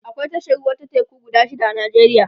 akwai tashar ruwa ta teku guda shida a nijeriya